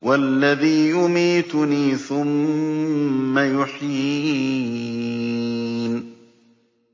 وَالَّذِي يُمِيتُنِي ثُمَّ يُحْيِينِ